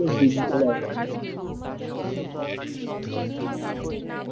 উহ আচ্ছা তোমার varsities জী তোমার varsity নাম কি